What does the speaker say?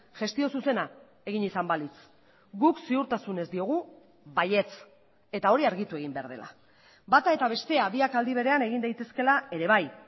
gestio zuzena egin izan balitz guk ziurtasunez diogu baietz eta hori argitu egin behar dela bata eta bestea biak aldi berean egin daitezkeela ere bai